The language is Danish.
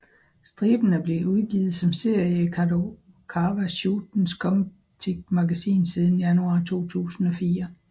Striben er blevet udgivet som serie i Kadokawa Shotens Comptiq magasin siden januar 2004